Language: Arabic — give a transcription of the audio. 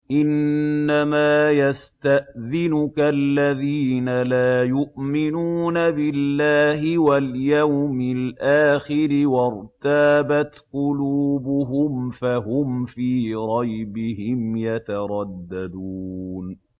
إِنَّمَا يَسْتَأْذِنُكَ الَّذِينَ لَا يُؤْمِنُونَ بِاللَّهِ وَالْيَوْمِ الْآخِرِ وَارْتَابَتْ قُلُوبُهُمْ فَهُمْ فِي رَيْبِهِمْ يَتَرَدَّدُونَ